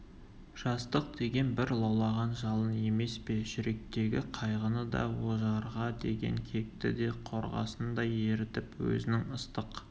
жастық деген бір лаулаған жалын емес пе жүректегі қайғыны да ожарға деген кекті де қорғасындай ерітіп өзінің ыстық